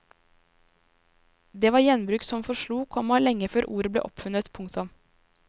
Det var gjenbruk som forslo, komma lenge før ordet ble oppfunnet. punktum